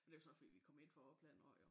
Og det var så fordi vi kom ind fra opland af jo